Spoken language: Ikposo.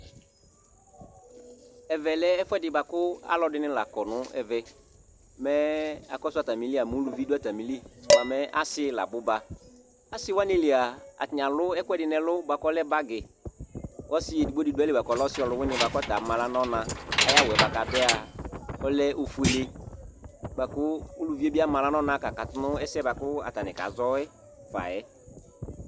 Ɛvɛ lɛ ɛfu ɛɖɩ ku alu nɩ la kɔ nu ɛvɛ Mɛ akɔsu atamɩlɩa mɛ uluvɩ ɖu atamɩlɩ bua ɔsiɩ la abuba Asi wani lia, atanɩ alu ɛku ɛɖi nu ɛlu bua ku ɔlɛ bagy, kɔsɩ eɖɩgbo ɖɩ ɖu ayilɩ ku ɔlɛ ɔsi ɔlu wɩnɩ kɔta ama aɣla nu ɔna Aya wu yɛ bua ku aɖu yɛa ɔlɛ ofoele bua ku uluvɩe bɩ ama ahɣla nuɔna kakatu nu ɛsɛ buaku atanɩ kazɔ yɛ fa yɛ